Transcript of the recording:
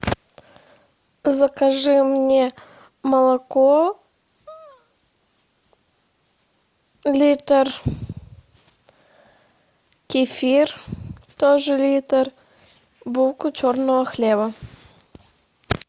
закажи мне молоко литр кефир тоже литр булку черного хлеба